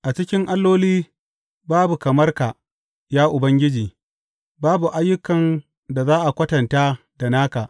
A cikin alloli babu kamar ka, ya Ubangiji; babu ayyukan da za a kwatanta da naka.